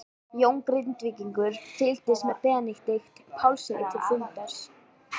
Jón Grindvíkingur fylgdi Benedikt Pálssyni til fundarins.